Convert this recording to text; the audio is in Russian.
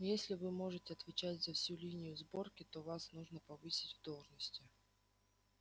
если вы можете отвечать за всю линию сборки то вас нужно повысить в должности